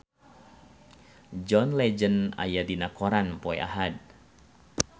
John Legend aya dina koran poe Ahad